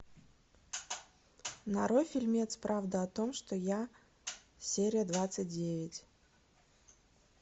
нарой фильмец правда о том что я серия двадцать девять